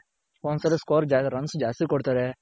ಒಂದೊಂದ್ ಸಲಿ score, runs ಜಾಸ್ತಿ ಕೊಡ್ತಾರೆ.